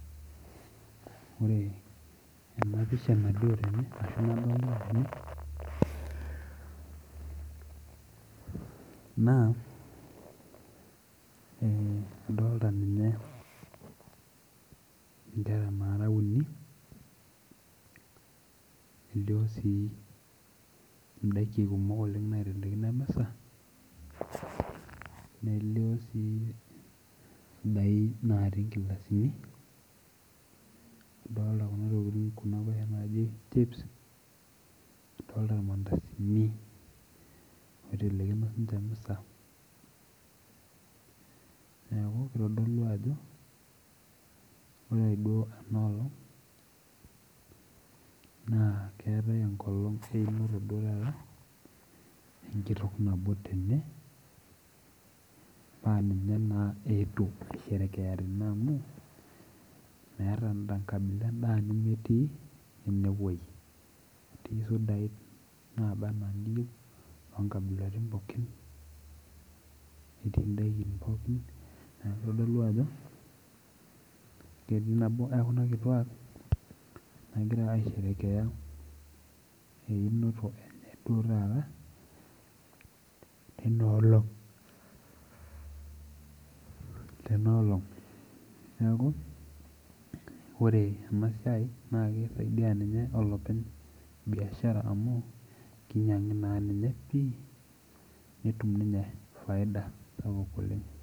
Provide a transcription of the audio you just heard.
Ore ena pisha nalio tene ashu nadolita tene naa eh adolta ninye inkera nara uni nelio sii indaiki kumok oleng naitelekino emisa nelio sii isudai natii inkilasini idolta kuna tokiting kuna kuashena naaji chips adolta irmandasini oitelekino sinche emisa neeku kitodolu ajo ore duo ena olong naa keetae enkolong einoto duo taata enkitok nabo tene naa ninye naa eetuo aisherekea tene amu meeta endaa enkabila endaa nemetii enewoi etii isudai naba anaa iniyieu inonkabilatin pookin netii indaikin pookin niaku kitodolu ajo ketii nabo ekuna kituak nagira aisherekea einoto enye duo taata teina olong tena olong neaku ore ena siai naa kisaidia ninye olopeny biashara amu kinyiang'i naa ninye pii netum ninye faida sapuk oleng.